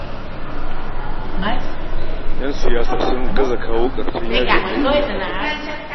Yan siyasa sun gaza kawo ƙarshen yajin aikin ƙasar nan